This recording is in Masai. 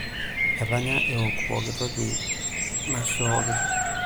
Etanya ewok pooki toki naishooki.